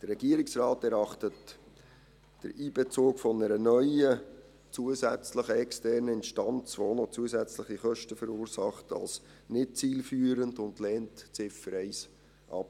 Der Regierungsrat erachtet den Einbezug einer neuen, zusätzlichen externen Instanz, die auch noch zusätzliche Kosten verursacht, als nicht zielführend und lehnt die Ziffer 1 ab.